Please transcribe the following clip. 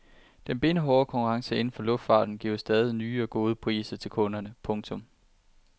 Den benhårde konkurrence inden for luftfarten giver stadig nye og gode priser til kunderne. punktum